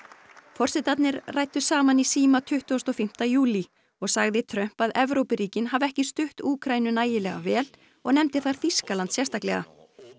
forsetarnir ræddu saman í síma tuttugasti og fimmti júlí og sagði Trump að Evrópuríkin hafi ekki stutt Úkraínu nægilega vel og nefndi þar Þýskaland sérstaklega